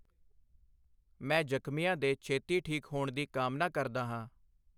ਮੈਂ ਜਖ਼ਮੀਆਂ ਦੇ ਛੇਤੀ ਠੀਕ ਹੋਣ ਦੀ ਕਾਮਨਾ ਕਰਦਾ ਹਾਂ।